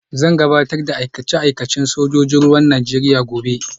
Zan gabatar da aikace-aikacena na sojojin ruwan Najeriya gobe